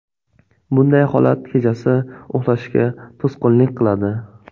Bunday holat kechasi uxlashga to‘sqinlik qiladi.